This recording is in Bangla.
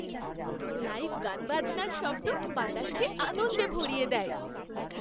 লাইভ গানবাজনার শব্দ বাতাসকে আনন্দে ভরিয়ে দেয়।